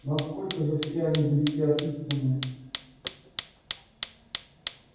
но сколько же все они далеки от истины